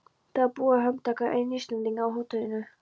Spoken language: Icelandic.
Það var búið að handtaka einn Íslendinganna á hótelinu.